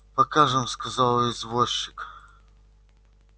покажем сказал извозчик